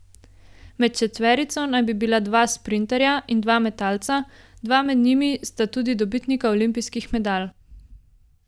Med četverico naj bi bila dva sprinterja in dva metalca, dva med njimi sta tudi dobitnika olimpijskih medalj.